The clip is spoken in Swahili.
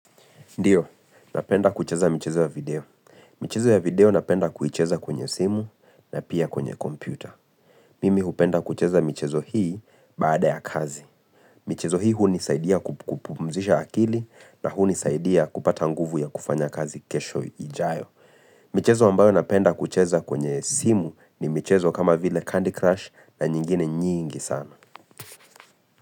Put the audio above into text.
Ndiyo, napenda kucheza michezo ya video. Michezo ya video napenda kuicheza kwenye simu na pia kwenye kompyuta. Mimi hupenda kucheza michezo hii baada ya kazi. Michezo hii hunisaidia kupumzisha akili na hunisaidia kupata nguvu ya kufanya kazi kesho ijayo. Michezo ambayo napenda kucheza kwenye simu ni michezo kama vile Candy Crush na nyingine nyingi sana.